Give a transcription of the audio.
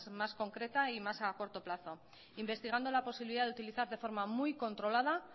más concreta y más a corto plazo investigando la posibilidad de utilizar de forma muy controlada